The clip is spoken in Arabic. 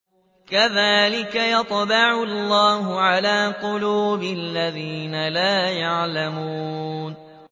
كَذَٰلِكَ يَطْبَعُ اللَّهُ عَلَىٰ قُلُوبِ الَّذِينَ لَا يَعْلَمُونَ